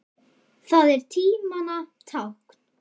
Það er tímanna tákn.